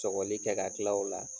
Sɔgɔli kɛ ka tila o la